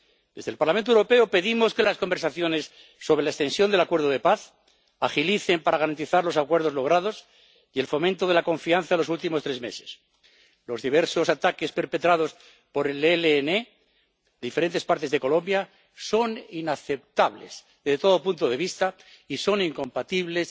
Desde el Parlamento Europeo pedimos que las conversaciones sobre la extensión del acuerdo de paz se agilicen para garantizar los acuerdos logrados y el fomento de la confianza en los últimos tres meses. Los diversos ataques perpetrados por el ELN en diferentes partes de Colombia son inaceptables desde todo punto de vista y son incompatibles